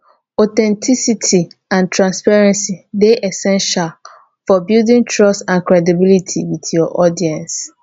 authenticity and transparency dey essential for building trust and credibility with your audience